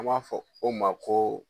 An b'a fɔ o ma ko.